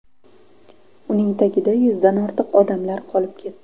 Uning tagida yuzdan ortiq odamlar qolib ketdi.